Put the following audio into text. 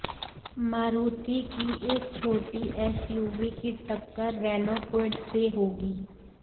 मारुति की इस छोटी एसयूवी की टक्कर रेनॉ क्विड से होगी